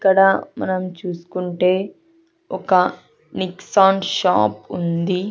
ఇక్కడ మనం చూసుకుంటే ఒక నిక్సాన్ షాప్ ఉంది.